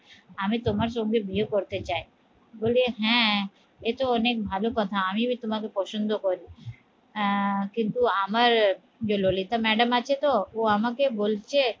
আমি তোমার সঙ্গে বিয়ে করতে চই বলে হ্যাঁ এতো অনেক ভালো কথা আমি তোমাকে পছন্দ করি হ্যাঁ কিন্তু আমার জে ললিতা madam আছে তো ও আমাকে বলছে